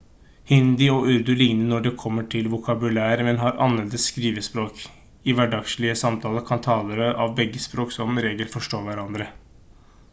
hindi og urdu ligner når det kommer til vokabular men har annerledes skrivespråk i hverdagslige samtaler kan talere av begge språk som regel forstå hverandre